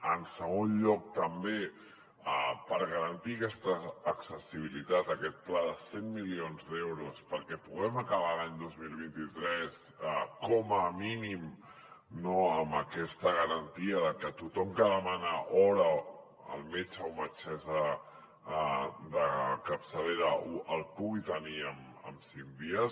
en segon lloc també per garantir aquesta accessibilitat aquest pla de cent milions d’euros perquè puguem acabar l’any dos mil vint tres com a mínim amb aquesta garantia de que tothom que demana hora al metge o metgessa de capçalera la pugui tenir en cinc dies